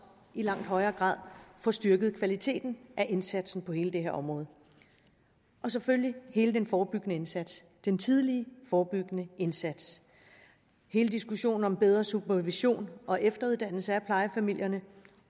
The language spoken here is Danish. i langt højere grad får styrket kvaliteten af indsatsen på hele det her område og selvfølgelig hele den forebyggende indsats den tidlige forebyggende indsats hele diskussionen om bedre supervision og efteruddannelse af plejefamilierne